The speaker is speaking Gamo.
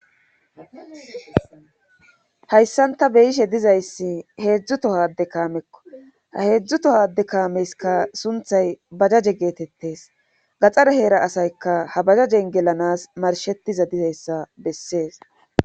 hayssanta beyishe dizayssi heedzdzu tohade kaamekko ha heedzdzu tohade kaameska sunthay bajaje geetettes gaxxare heera asayka ha bajajen gelanas marshetiza dizayssa bessees